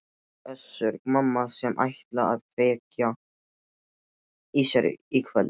Össur-Mamma sem ætlaði að kveikja í sér í kvöld?